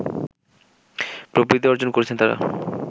প্রবৃদ্ধি অর্জন করেছেন তারা